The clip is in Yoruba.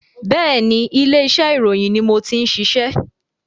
Bẹ́ẹ̀ni, ilé iṣẹ́ ìròyìn ni mo ti ń ṣiṣẹ́